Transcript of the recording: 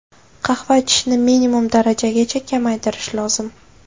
Qahva ichishni minimum darajagacha kamaytirish lozim.